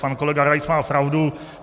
Pan kolega Rais má pravdu.